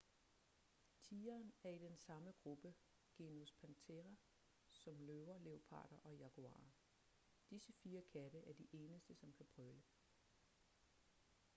tigeren er i den samme gruppe genus panthera som løver leoparder og jaguarer. disse fire katte er de eneste som kan brøle